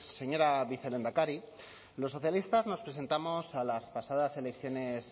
señora vicelehendakari los socialistas nos presentamos a las pasadas elecciones